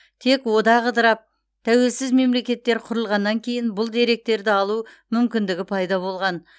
тек одақ ыдырап тәуелсіз мемлекеттер құрылғаннан кейін бұл деректерді алу мүмкіндігі пайда болған